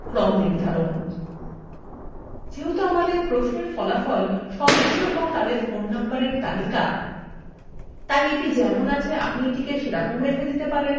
যেহেতু আমাদের প্রশ্নএর ফলাফল সদস্য এবং তাদের ফোন নম্বরএর তালিকা তাই এটি যেমন আছে আপনি তেমন রেখে দিতে পারেন